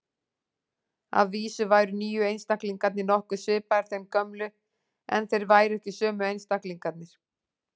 Að vísu væru nýju einstaklingarnir nokkuð svipaðir þeim gömlu, en þeir væru ekki sömu einstaklingarnir.